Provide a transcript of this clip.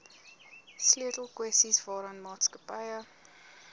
sleutelkwessies waaraan maatskappye